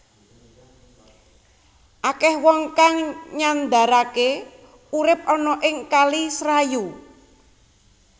Akèh wong kang nyandaraké urip ana ing kali Serayu